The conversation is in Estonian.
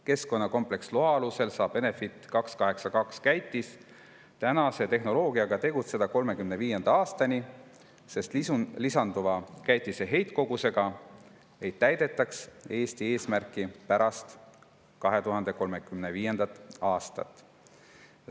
Keskkonnakompleksloa alusel saab Enefit 282 käitis tänase tehnoloogiaga tegutseda 2035. aastani, sest lisanduva käitise heitkogusega ei täidetaks Eesti 2035. aasta eesmärki.